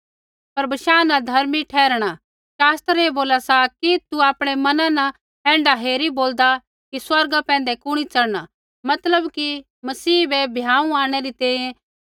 पर बशाह न धर्मी ठहराणा शास्त्र ऐ बोला सा कि तू आपणै मना न ऐण्ढा हेरी बोलदा कि स्वर्गा पैंधै कुणी चढ़ना मतलब कि मसीह बै भ्याँऊ आंणनै री तैंईंयैं